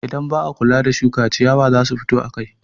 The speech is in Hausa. Idan ba a kula da shuka, ciyawa za su fito akai.